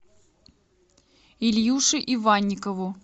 ильюше иванникову